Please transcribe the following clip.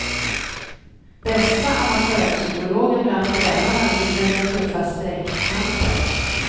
Bästa amatörpsykologen bland tränarna vinner den tuffa streckkampen.